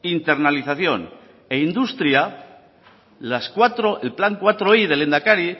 internacionalización e industria el plan laui del lehendakari